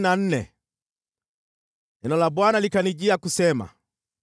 Neno la Bwana likanijia kusema: